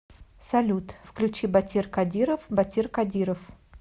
салют включи батир кадиров батир кадиров